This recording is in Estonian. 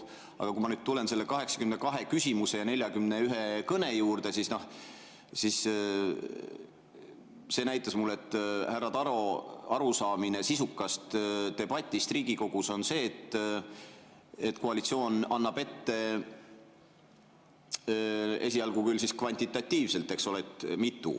Aga kui ma nüüd tulen selle 82 küsimuse ja 41 kõne juurde, siis see näitas mulle, et härra Taro arusaamine sisukast debatist Riigikogus on see, et koalitsioon annab ette esialgu kvantitatiivselt, mitu …